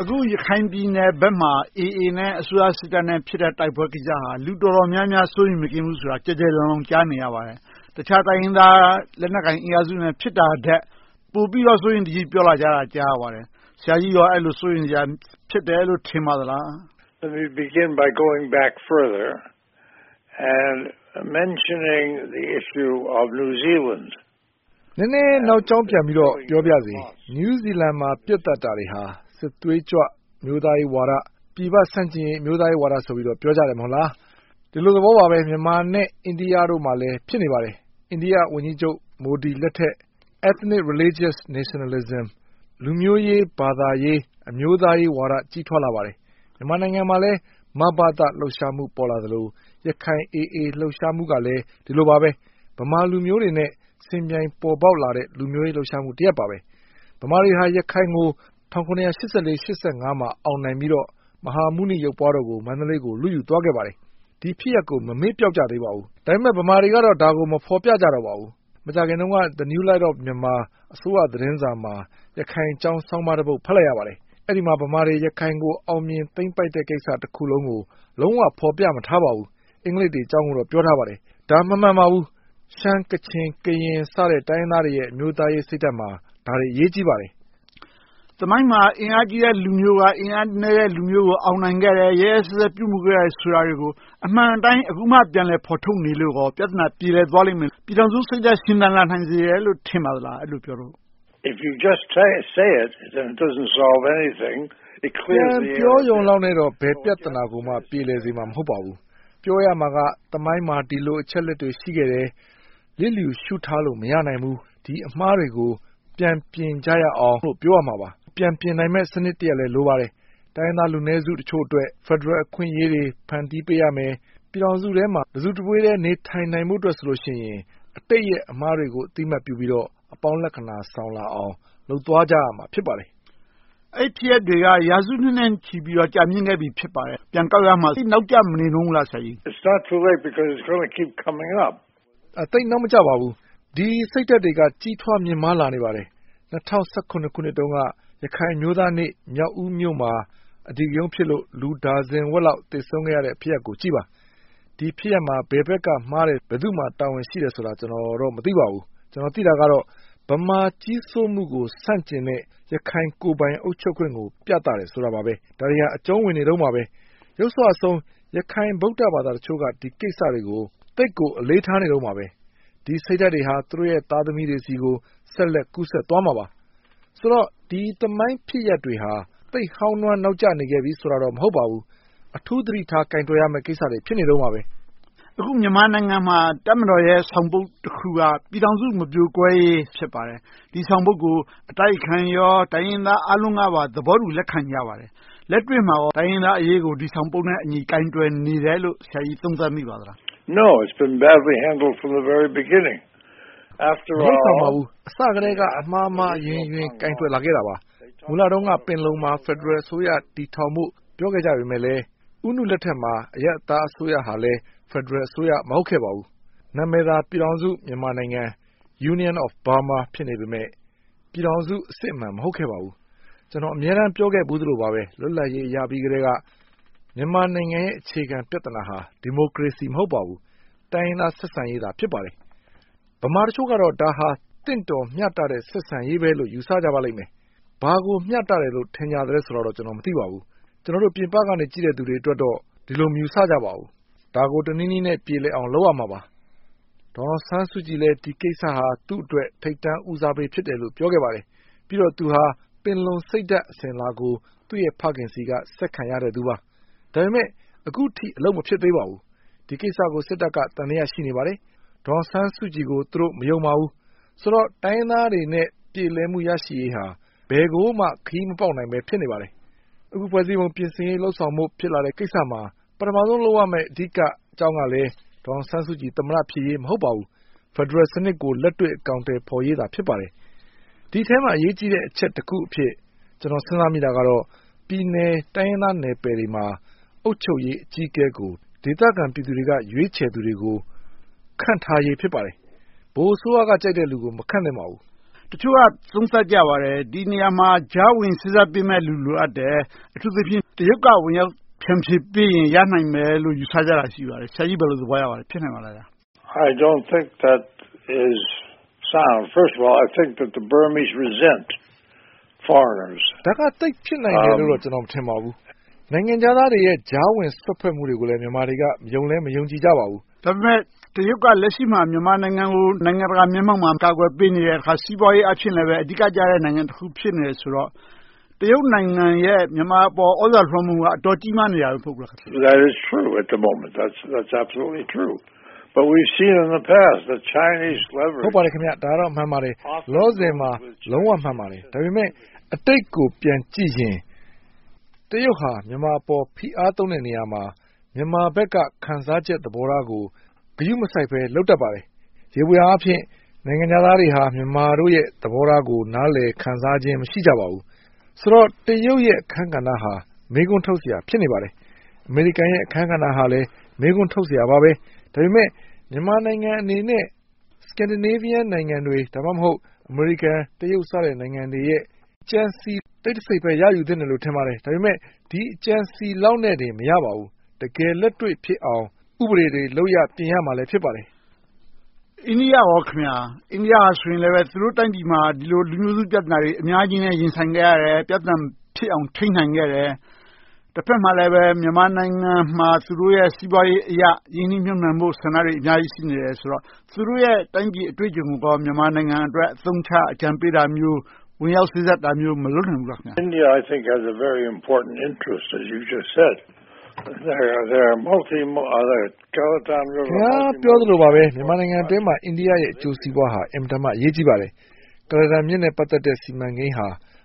အခု ရခိုင်ပြည်နယ်ဘက်မှာ အေအေနဲ့ အစိုးရစစ်တပ်နဲ့ ဖြစ်နေတဲ့ တိုက်ပွဲကိစ္စဟာ လူတော်တော်များများ စိုးရိမ်မကင်း ဖြစ်နေကြတယ်ဆိုတာကို ကျယ်ကျယ်လောင်လောင် ကြားနေရပါတယ်။ တခြားတိုင်းရင်းသား လက်နက်ကိုင်အင်အားစုတွေနဲ့ ဖြစ်နေတာထက် ပိုပြီးတော့ စိုးရိမ်တကြီး ပြောဆိုနေကြတာကို ကြားနေရပါတယ်။ ဆရာကြီးက အဲဒါကို စိုးရိမ်စရာ ဖြစ်တယ်လို့ ထင်ပါသလား။ နည်းနည်းနောက်ကြောင်းပြန်ပြီးတော့ ပြောပါရစေ။ နယူးဇီလန်မှာ ပစ်သတ်တာတွေဟာ စစ်သွေးကြွ၊ အမျိုးသားရေးဝါဒ၊ ပြည်ပဆန့်ကျင်ရေး အမျိုးသားရေးဝါဒဆိုပြီး ပြောကြတယ် မဟုတ်လား။ ဒီလိုသဘောပါပဲ မြန်မာနဲ့ အိန္ဒိယတို့မှာလည်း ဖြစ်နေပါတယ်။ အိန္ဒိယဝန်ကြီးချုပ် မိုဒီလက်ထက် Ethnic, Religious Nationalism - လူမျိုးရေး၊ ဘာသာရေး၊ အမျိုးသားရေးဝါဒ ကြီးထွားလာပါတယ်။ မြန်မာနိုင်ငံမှာလဲ မဘသ လှုပ်ရှားမှု ပေါ်လာသလို၊ ရခိုင် အေအေ လှုပ်ရှားမှုကလဲ ဒီလိုပါပဲ - ဗမာလူမျိုးတွေနဲ့ ယှဉ်ပြိုင်ပေါ်ပေါက်လာတဲ့ လူမျိုးရေးလှုပ်ရှားမှု တရပ်ပါ။ ဗမာတွေက ရခိုင်ကို ၁၇၈၄-၈၅ မှာ အောင်နိုင်ပြီးတော့ မဟာမြတ်မုနီ ရုပ်ပွားတော်ကို မန္တလေးကို လုယူသွှားကြပါတယ်။ ဒီဖြစ်ရပ်ကို ရခိုင်တွေက မမေ့ပျောက်သေးကြပါဘူး။ ဒါပေမဲ့ ဗမာတွေကတော့ ဒါကို မဖော်ပြကြတော့ပါဘူး။ မကြာသေးခင်တုန်းက New Light of Myanmar အစိုးရသတင်းစာမှာ ရခိုင်အကြောင်း သတင်းဆောင်းပါးတပုဒ် ဖတ်လိုက်ရပါတယ်။ အဲဒီမှာ ဗမာတွေ ရခိုင်ကို အောင်မြင်သိမ်းပိုက်တဲ့ သမိုင်းဖြစ်စဉ်တခုလုံးကို လုံးဝဖော်ပြမထားပါဘူး။ အင်္ဂလိပ်တွေအကြောင်းကိုတော့ ပြောထားပါတယ်။ ဒါက မမှန်ပါဘူး။ ရှမ်း၊ ကချင်၊ ကရင် တိုင်းရင်းသားတွေရဲ့ အမျိုးသားရေးစိတ်ဓါတ်မှာ ဒါတွေအရေးကြီးပါတယ်။ သမိုင်းမှာ အင်အားကြီးတဲ့ လူမျိုးက အင်အားနည်းတဲ့အုပ်စုကို အောင်မြင်ခဲ့တယ်။ ရက်ရက်စက်စက် ပြုမှုခဲ့တယ်ဆိုတာတွေကို အမှန်အတိုင်း အခုမှ ပြန်လည်ဖော်ထုတ်နေလို့ကော ပြဿနာ ပြေလည်သွားလိမ့်မယ်။ ပြည်ထောင်စုစိတ်ဓါတ် ရှင်သန်လာနိုင်စေတယ်လို့ ထင်ပါသလား။ ပြန်ပြောရုံလောက်နဲ့တော့ ဘယ်ပြဿနာကိုမှ ပြေလည်စေမှာ မဟုတ်ပါဘူး။ ပြောရမှာက သမိုင်းမှာ ဒီလိုအချက်အလက်တွေ ရှိခဲ့တယ်။ လျစ်လျူရှုထားလို့ မရနိုင်ဘူး။ ဒီအမှားတွေကို ပြန်ပြင်ကြရအောင်လို့ ပြောရမှာပါ။ ပြန်ပြင်နိုင်မယ့် စနစ်တခုလဲ လိုပါတယ်။ တိုင်းရင်းသားလူနည်းစုတချို့အတွက် ဖယ်ဒရယ် အခွင့်အရေးတွေ ဖန်တီးပေးရမယ်။ ပြည်ထောင်စုထဲမှာ တစုတဝေးထဲ နေထိုင်းနိုင်ဖို့အတွက်ဆိုရင် အတိတ်ရဲ့ အမှားတွေကို အသိအမှတ်ပြုပြီးတော့ အပေါင်းလက္ခဏာ ဆောင်လာအောင် လုပ်သွားကြရမှာ ဖြစ်ပါတယ်။ အဲဒီဖြစ်ရပ်တွေက ရာစုနှစ်နဲ့ချီပြီး ကြာမြစ်ခဲ့ပြီ ဖြစ်ပါတယ်။ ပြန်ကောက်ရမှာ သိပ်နောင့်မကျမနေဘူးလား ဆရာကြီး။ သိပ်နောက်မကျပါဘူး။ ဒီစိတ်ဓါတ်တွေက ကြီးထွားမြင့်မာလာနေပါတယ်။ ၂၀၁၇ ခုနှစ်တုန်းက ရခိုင်အမျိုးသားနေ့ မြောက်ဦးမြို့မှာ အဓိကရုဏ်းဖြစ်လို့ လူဒါဇင်ဝက်လောက် သေဆုံးခဲ့ရတဲ့ ဖြစ်ရပ်ကိုကြည့်ပါ။ ဒီဖြစ်ရပ်မှာ ဘယ်ဘက်က မှားတယ်။ ဘယ်သူမှာ တာဝန်ရှိတယ်ဆိုတာကိုတော့ ကျနော် မသိပါဘူး။ ကျနော် သိတာကတော့ ဗမာကြီးစိုးမှုကို ဆန့်ကျင်တဲ့ ရခိုင်ကိုယ်ပိုင်အုပ်ချုပ်ခွင့်ကို ပြသတယ်ဆိုတာပါပဲ။ ဒါတွေဟာ အကြုံဝင်နေတုန်းပါပဲ။ ယုတ်စွအဆုံး ရခိုင်ဗုဒ္ဓဘာသာတချို့က ဒီကိစ္စတွေကို သိပ်ကိုအလေးထားနေတုန်းပါပဲ။ ဒီစိတ်ဓါတ်တွေဟာ သူတို့ သားသမီးတွေ ဆိုတော့ ဒီသမိုင်းဖြစ်ရပ်မှန်တွေဟာ သိပ်ဟောင်းနွှမ်းနောက်ကျနေခဲ့ပြီး ဆိုတာတော့ မဟုတ်ပါဘူး။ အထူးသတိထား ကိုင်တွယ်ဖြေရှင်းရမယ့်ကိစ္စတွေ ဖြစ်နေတုန်းပါ။ အခုမြန်မာနိုင်ငံမှာ တပ်မတော်ရဲ့ ဆောင်ပုဒ်တခုက ပြည်ထောင်စု မပြိုကွဲရေး ဖြစ်ပါတယ်။ ဒီဆောင်ပုဒ်ကို အတိုက်အခံရော၊ တိုင်းရင်းသားအားလုံးကပါ သဘောတူလက်ခံကြပါတယ်။ လက်တွေ့မှာကော တိုင်းရင်းသားအရေးကို ဒီဆောင်ပုဒ်နဲ့အညီ ကိုင်တွယ်နေတယ်လို့ ဆရာကြီးသုံးသပ်မိပါသလား။ မလုပ်ဆောင်ပါဘူး။ အစကတည်းက အမှားမှားအယွင်းယွင်း ကိုင်တွယ်လာခဲ့တာပါ။ မူလတုန်းက ပင်လုံမှာ ဖယ်ဒရယ်အစိုးရ တည်ထောင်ဖို့ ပြောခဲ့ကြပေမယ့် ဦးနုလက်ထက်မှာ အရပ်သားအစိုးရဟာလည်း ဖယ်ဒရယ်အစိုးရ မဟုတ်ခဲ့ပါဘူး။ နာမည်သာ ပြည်ထောင်စု မြန်မာနိုင်ငံ Union of Burma ဖြစ်နေပေမယ့် ပြည်ထောင်စုအစစ်အမှန် မဟုတ်ခဲ့ပါဘူး။ ကျနော် အမြဲတမ်း ပြောခဲ့သလိုပါပဲ လွတ်လပ်ရေးရပြီးကတည်းက မြန်မာနိုင်ငံရဲ့ အခြေခံပြဿနာဟာ ဒီမိုကရေစီ မဟုတ်ပါဘူး။ တိုင်းရင်းသားဆက်ဆံရေးသာ ဖြစ်ပါတယ်။ ဗမာတချို့ကတော့ ဒါဟာ သင့်တော်မျှတတဲ့ ဆက်ဆံရေးပဲလို့ ယူဆကြပါလိမ့်မယ်။ ဘာကိုမျှတသလဲဆိုတာတော့ ကျနော် မသိပါဘူး။ ကျနော်တို့ ပြင်ပက ကြည့်နေသူတွေအတွက်တော့ ဒီလိုမယူဆကြပါဘူး။ ဒါကို တနည်းနည်းနဲ့ ပြေလည်အောင် လုပ်ရမှာပါ။ ဒေါ်အောင်ဆန်းစုကြည်လည်း ဒီကိစ္စဟာ သူ့အတွက် ထိပ်တန်းဦးစားပေးလို့ ပြောခဲ့ပါတယ်။ ပြီးတော့ သူဟာ ပင်လုံစိတ်ဓါတ် အစဉ်အလာကို သူ့ရဲ့ဖခင်ဆီကနေ ဆက်ခံရခဲ့သူပါ။ ဒါပေမဲ့ အခုထိ အလုပ်မဖြစ်သေးပါဘူး။ ဒီကိစ္စကို စစ်တပ်က သံသယ ရှိနေပါတယ်။ ဒေါ်အောင်ဆန်းစုကြည်ကို သူတို့ မယုံပါဘူး။ ဆိုတော့ တိုင်းရင်းသားေးတွအနေနဲ့ ပြေလည်မှု ရရှိရေးဟာ ဘယ်ကိုမှ ခရီးမပေါက်ဘဲ ဖြစ်နေပါတယ်။ အခု ဖွဲ့စည်းပုံပြင်ဆင်ရေး လုပ်ဆောင်ဖို့ ဖြစ်လာတဲ့ကိစ္စမှာ ပထမဦးဆုံး လုပ်ရမယ့် အဓိကအကြောင်းကလည်း ဒေါ်အောင်ဆန်းစုကြည် သမ္မတဖြစ်ရေး မဟုတ်ပါဘူး။ ဖယ်ဒရယ်စနစ်ကို လက်တွေ့အကောင်အထည် ဖော်ရေးသာ ဖြစ်ပါတယ်။ ဒီအထဲမှာ အရေးကြီးတဲ့ အချက်တခုအဖြစ် ကျနော် စဉ်းစားမိတာကတော့ ပြည်နယ်တိုင်းရင်းသားနယ်ပယ်တွေမှာ အုပ်ချုပ်ရေးအကြီးအကဲကို ဒေသခံပြည်သူတွေက ရွေးချယ်သူတွေကို ခန့်ထားရေး ဖြစ်ပါတယ်။ ဗဟိုအစိုးရက ကြိုက်တဲ့လူကို မခန့်သင့်ပါဘူး။ တချို့က သုံးသပ်ကြပါတယ်။ ဒီနေရာမှာ ကြားဝင်စေ့စပ်ပေးမယ့်လူ လိုအပ်တယ်။ အထူးသဖြင့် တရုတ်က ကြားဝင်ဖြန့်ဖြေပေးရင် ရနိုင်မယ်လို့ ယူဆကြတာ ရှိပါတယ်။ ဆရာကြီး ဘယ်လိုသဘောရပါသလဲ။ ဖြစ်နိုင်ပါသလား။ ဒါက သိပ်ဖြစ်နိုင်မယ်လို့ ကျနော် မထင်ပါဘူး။ နိုင်ငံခြားသားတွေရဲ့ ကြားဝင်စွက်ဖက်မှုတွေကို မြန်မာတွေက ယုံလည်းမယုံကြည်ကြပါဘူး။ ဒါပေမဲ့ တရုတ်က လက်ရှိမှာ မြန်မာနိုင်ငံကို နိုင်ငံတကာမျက်မှောက်မှာ ကာကွယ်ပေးနေတယ်။ စီးပွားရေး အားဖြင့်လဲ အဓိကကျတဲ့ နိုင်ငံတခု ဖြစ်နေတယ်ဆိုတော့ တရုတ်နိုင်ငံရဲ့ မြန်မာအပေါ် သြဇာလွှမ်းမိုးမှုက အတော်ကြီးမားနေတယ် မဟုတ်ဘူးလား။ ဟုတ်ပါတယ် ဒါကတော့ မှန်ပါတယ်။ လောလောဆယ်မှာ လုံးဝမှန်ပါတယ်။ ဒါပေမဲ့အတိတ်ကို ပြန်ကြည့်ရင် တရုတ်ဟာ မြန်မာအပေါ် ဖိအားသုံးတဲ့နေရာမှာ မြန်မာဘက်က ခံစားချက်သဘောထားကို ဂရုမစိုက်ဘဲ လုပ်တတ်ပါတယ်။ ယေဘုယျအားဖြင့် နိုင်ငံခြားသားတွေဟာ မြန်မာတို့ရဲ့ သဘောထားကို နားလည်ခံစားခြင်း မရှိကြပါဘူး။ ဆိုတော့ တရုတ်ရဲ့ အခန်းကဏ္ဍဟာ မေးခွန်းထုတ်စရာ ဖြစ်နေပါတယ်။ အမေရိကန်ရဲ့ အခန်းကဏ္ဍဟာလည်း မေးခွန်းထုတ်စရာပါပဲ။ ဒါပေမဲ့ မြန်မာနိုင်ငံအနေနဲ့ Scandinavia နိုင်ငံတွေ၊ ဒါမှမဟုတ် အမေရိကန်၊ တရုတ် စသဖြင့် နိုင်ငံတွေရဲ့ ကြံစည်တိတ်တစိတ်ပဲ ရယူသင့်တယ်လို့ ထင်ပါတယ်။ ဒါပေမဲ့ ဒီအကြံအစည်လောက်နဲ့ပင် မရနိုင်ပါဘူး။ တကယ်လက်တွေ့ဖြစ်အောင် ဥပဒေတွေ လုပ်ရပ်တွေကို ပြင်ရမှာ ဖြစ်ပါတယ်။ အိန္ဒိယအနေနဲ့ သူတို့တိုင်းပြည်မှာ ဒီလိုလူမျိုးစု ပြဿနာတွေ အများကြီးနဲ့ ရင်ဆိုင်ခဲ့ရတယ်။ ပြဿနာ မဖြစ်အောင် ထိန်းနိုင်ခဲ့တယ်။ တဘက်မှာလည်း မြန်မာနိုင်ငံမှာ သူတို့ရဲ့ စီးပွားရေးအရ ရင်းနှီးမြှုပ်နံှမှုတွေ အများကြီး ရှိနေသေးတယ်ဆိုတော့ သူတို့ရဲ့ တိုင်းပြည်အတွေ့အကြုံကို မြန်မာနိုင်ငံအတွက် အသုံးချ၊ အကြံပြုတာမျိုး၊ ဝင်ရောက်စွတ်ဖက်တာမျိုးတွေ မလုပ်နိုင်ဘူးလား။ ခင်များ ပြောသလိုပါပဲ မြန်မာနိုင်ငံအတွင်းမှာ အိန္ဒိယနိုင်ငံရဲ့ အကျိုးစီးပွားဟာ အင်မတန်မှ အရေးကြီးပါတယ်။ ကုလားတန်မြစ်နဲ့ ပတ်သက်တဲ့ စီမံကိန်းဟ